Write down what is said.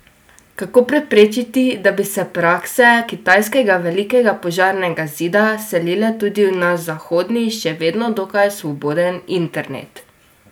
Kako preprečiti, da bi se prakse kitajskega Velikega požarnega zida selile tudi v naš zahodni, še vedno dokaj svoboden internet?